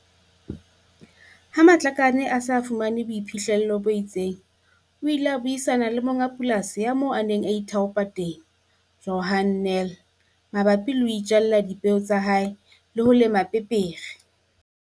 Ha Matlakane a se a thotse boiphihlelo bo itseng, o ile a buisana le monga polasi ya moo a neng a ithaopa teng, Johan Nel, mabapi le ho itjalla dipeo tsa hae le ho lema pepere.